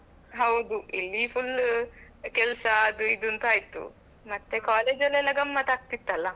ಹೌದು ಇಲ್ಲಿ full ಕೆಲಸ ಅದು ಇದು ಅಂತ ಆಯ್ತು ಮತ್ತೆ collegeಅಲ್ಲಿ ಎಲ್ಲ ಗಮ್ಮತ್ತು ಆಗ್ತಿತ್ತಲ್ಲ.